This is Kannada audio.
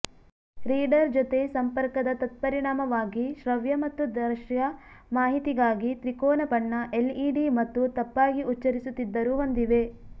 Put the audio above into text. ರೀಡರ್ ಜೊತೆ ಸಂಪರ್ಕದ ತತ್ಪರಿಣಾಮವಾಗಿ ಶ್ರವ್ಯ ಮತ್ತು ದೃಶ್ಯ ಮಾಹಿತಿಗಾಗಿ ತ್ರಿಕೋನ ಬಣ್ಣ ಎಲ್ಇಡಿ ಮತ್ತು ತಪ್ಪಾಗಿ ಉಚ್ಚರಿಸುತ್ತಿದ್ದರು ಹೊಂದಿವೆ